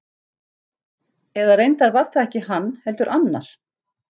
Eða reyndar var það ekki hann, heldur annar.